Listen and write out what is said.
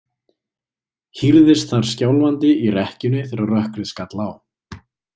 Hírðist þar skjálfandi í rekkjunni þegar rökkrið skall á.